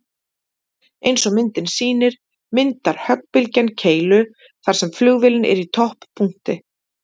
Eins og myndin sýnir myndar höggbylgjan keilu þar sem flugvélin er í topppunkti.